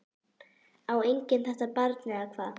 Á enginn þetta barn eða hvað?